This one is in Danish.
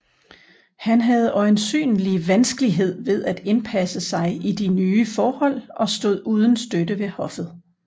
Han havde øjensynlig vanskelighed ved at indpasse sig i de nye forhold og stod uden støtte ved hoffet